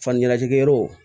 Fani kala jigiyɔrɔ